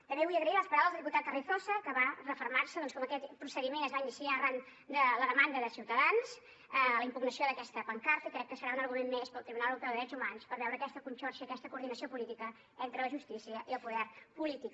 també vull agrair les paraules del diputat carrizosa que va refermar se doncs en com aquest procediment es va iniciar arran de la demanda de ciutadans la impugnació d’aquesta pancarta i crec que serà un argument més per al tribunal europeu de drets humans per veure aquesta conxorxa aquesta coordinació política entre la justícia i el poder polític